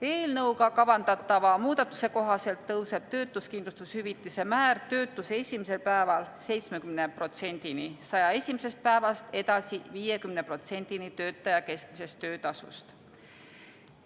Eelnõuga kavandatava muudatuse kohaselt tõuseb töötuskindlustushüvitise määr töötuse esimesel päeval 70%-ni, 101. päevast edasi 50%-ni töötaja keskmisest töötasust.